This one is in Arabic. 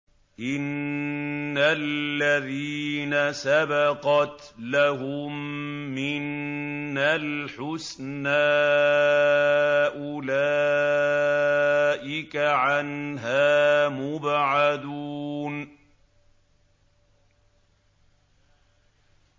إِنَّ الَّذِينَ سَبَقَتْ لَهُم مِّنَّا الْحُسْنَىٰ أُولَٰئِكَ عَنْهَا مُبْعَدُونَ